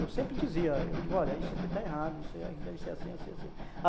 Eu sempre dizia, eu digo, olha, isso aqui está errado, isso aqui deve ser assim, assim, assim.